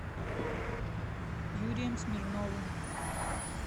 юрием смирновым